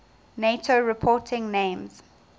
nato reporting names